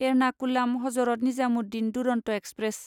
Ernakulam Hazrat Nizamuddin Duronto express